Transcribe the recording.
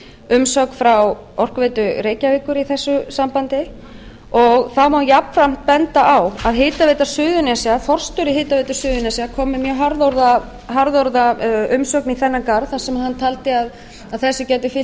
umsögn frá orkuveitu reykjavíkur í þessu sambandi og þá má jafnframt benda á að forstjóri hitaveitu suðurnesja kom með mjög harðorða umsögn í þennan garð þar sem hann taldi að þessu gæti fylgt